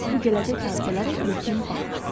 Bu gələcək hadisələrə ilkin baxışdır.